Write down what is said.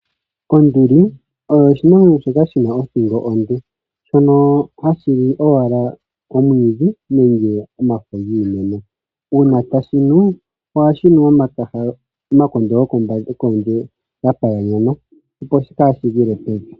Onduli oyo oshinamwenyo shoka shina othingo onde, shono hashi li owala omwiidhi nenge omafo giimeno. Uuna tashi nu, ohashi nu omakondo gokondje ga paganyana, opo kaashi gwile pevi.